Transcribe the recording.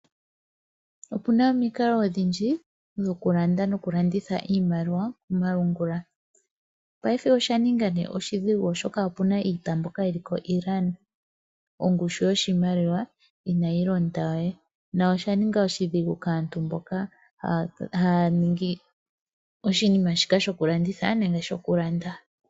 Opuna omikalo odhindji dhoku landa noku landitha iimaliwa komalungula, paife osha ninga nee oshidhigu oshoka iita mbyoka yili ko Iran ongushu yoshimaliwa inayi londa we, nosha ninga oshidhigu kaantu mboka haya ningi oshinima shika shoku landitha nenge shoku landa.